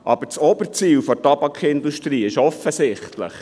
Das oberste Ziel der Tabakindustrie ist jedoch offensichtlich: